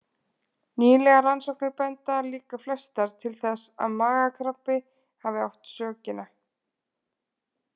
Nýlegar rannsóknir benda líka flestar til þess að magakrabbi hafi átt sökina.